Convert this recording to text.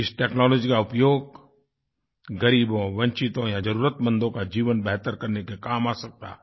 इस टेक्नोलॉजी का उपयोग ग़रीबों वंचितों या ज़रुरतमंदों का जीवन बेहतर करने के काम आ सकता है